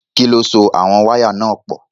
Kí ló so àwọn wáyà náà pọ̀?